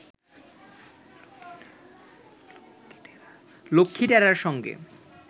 লক্ষ্মীটেরা’র সঙ্গে